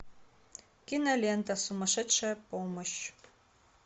кинолента сумасшедшая помощь